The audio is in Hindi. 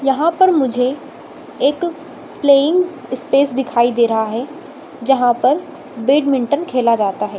यहाँ पर मुझे एक प्लेयिंग स्पेस दिखाई दे रहा है जहाँ पर बैडमिंटन खेला जाता है।